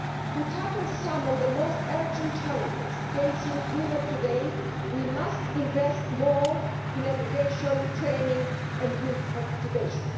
To tackle some of the most urgent challenges facing Europe today, we must invest more in education, training and youth participation.